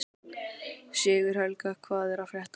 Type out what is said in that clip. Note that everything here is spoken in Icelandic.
Sigurhelga, hvað er að frétta?